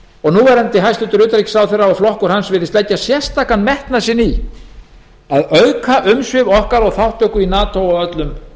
og núverandi hæstvirtum utanríkisráðherra og flokkur hans virðist leggja sérstakan metnað í að auka umsvif okkar og þátttöku í nato á öllum